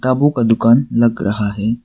किताबों का दुकान लग रहा है।